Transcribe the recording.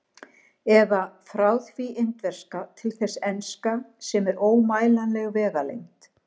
Eða: frá því indverska til þess enska, sem er ómælanleg vegalengd.